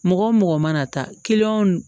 Mɔgɔ o mɔgɔ mana taa